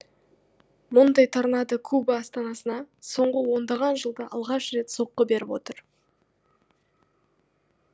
мұндай торнадо куба астанасына соңғы ондаған жылда алғаш рет соққы беріп отыр